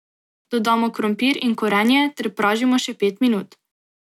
Dodamo krompir in korenje ter pražimo še pet minut.